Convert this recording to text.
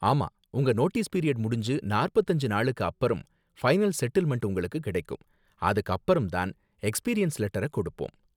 ஆமா, உங்க notice period முடிஞ்சு நாற்பத்து அஞ்சி நாளுக்கு அப்பறம் ஃபைனல் செட்டில்மெண்ட் உங்களுக்கு கிடைக்கும், அதுக்கு அப்பறம் தான் எக்ஸ்பீரியன்ஸ் லெட்டர கொடுப்போம்.